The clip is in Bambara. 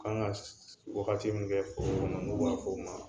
Kan ka wagati min kɛ foro kɔnɔ n'u b'a fɔ o ma